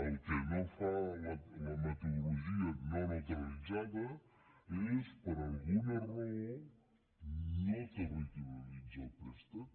el que no fa la metodologia no neutra·litzada és per alguna raó no territorialitzar el préstec